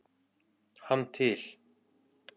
hann til.